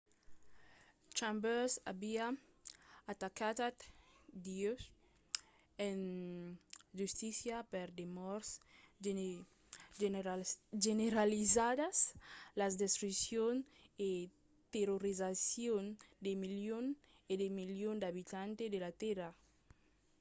chambers aviá atacat dieu en justícia per de mòrts generalizadas la destruccion e terrorizacion de milions e de millions d'abitants de la tèrra.